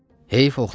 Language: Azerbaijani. Heyf oxlan idi.